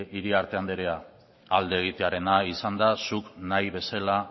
iriarte anderea alde egitearena izan da zuk nahi bezala